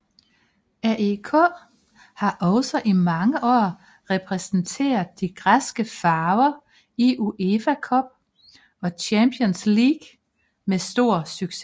AEK har også i mange år repræsenteret de græske farver i UEFA Cup og Champions League med stor succes